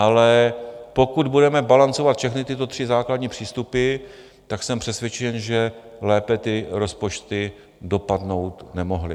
Ale pokud budeme balancovat všechny tyto tři základní přístupy, tak jsem přesvědčen, že lépe ty rozpočty dopadnout nemohly.